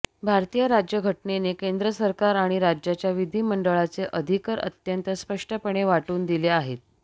भारतीय राज्यघटनेने केंद्र सरकार आणि राज्यांच्या विधिमंडळांचे अधिकर अत्यंत स्पष्टपणे वाटून दिले आहेत